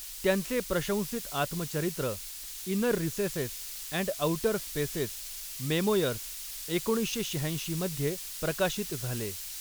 त्यांचे प्रशंसित आत्मचरित्र, Inner Recesses and Outer Spaces, Memoirs, एकोणीसशे शहाऐंशी मध्ये प्रकाशित झाले.